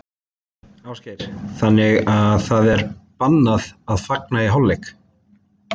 Ásgeir: Þannig að það er bannað að fagna í hálfleik?